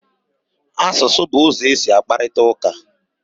Asụsụ bụ ụzọ e si akparịta ụka.